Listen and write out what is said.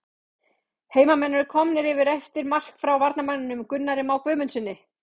HEIMAMENN ERU KOMNIR YFIR EFTIR MARK FRÁ VARAMANNINUM GUNNARI MÁ GUÐMUNDSSYNI!!